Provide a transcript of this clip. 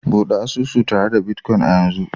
Bude asusu tare da bitcoin a yanzu